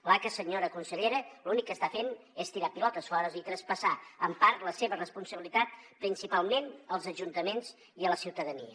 l’aca senyora consellera l’únic que està fent és tirar pilotes fora i traspassar en part la seva responsabilitat principalment als ajuntaments i a la ciutadania